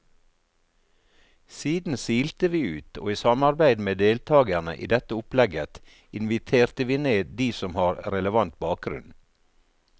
Siden silte vi ut, og i samarbeid med deltagerne i dette opplegget inviterte vi ned de som har relevant bakgrunn.